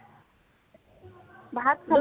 ভাত খালো